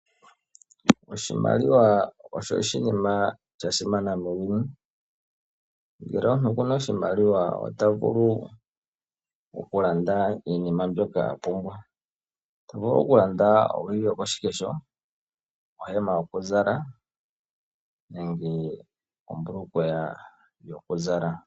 Oshimaliwa osho oshinima shasimana muuyuni. Ngele omuntu okuna oshimaliwa ota vulu okulanda iinima mbyoka a pumbwa. Otavulu okulanda owili yokoshikesho, ohema nenge ombulukweya yokuzala.